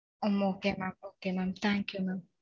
okay mam okay. Thanks mam